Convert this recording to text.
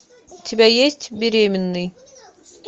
у тебя есть беременный